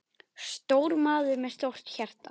Stór maður með stórt hjarta.